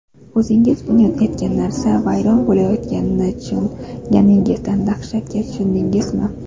O‘zingiz bunyod etgan narsa vayron bo‘layotganini tushunganingizda dahshatga tushdingizmi?